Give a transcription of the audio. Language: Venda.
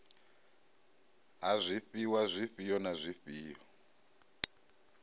ha zwifhiwa zwifhio na zwifhio